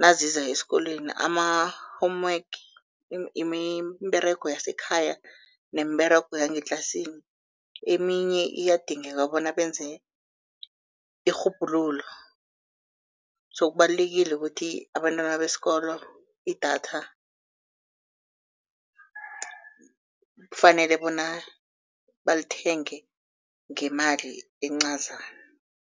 naziza esikolweni, ama-homework, iimberego yasekhaya neemberego yangetlasini. Eminye iyadingeka bona benze irhubhululo so kubalulekile ukuthi abantwana besikolo, idatha kufanele bona balithenge ngemali encazana.